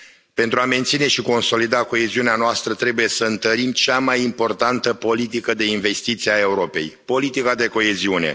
Pentru a menține și consolida coeziunea noastră, trebuie să întărim cea mai importantă politică de investiții a Europei politica de coeziune.